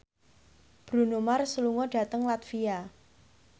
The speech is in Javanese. Bruno Mars lunga dhateng latvia